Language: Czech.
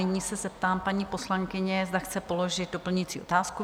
Nyní se zeptám paní poslankyně, zda chce položit doplňující otázku?